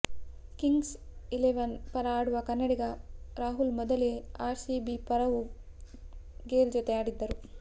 Kings Eleven ಪರ ಆಡುವ ಕನ್ನಡಿಗ ರಾಹುಲ್ ಮೊದಲೇ ಆರ್ ಸಿಬಿ ಪರವೂ ಗೇಲ್ ಜತೆ ಆಡಿದ್ದರು